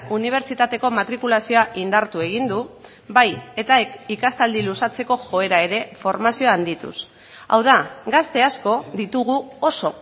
unibertsitateko matrikulazioa indartu egin du bai eta ikastaldi luzatzeko joera ere formazioa handituz hau da gazte asko ditugu oso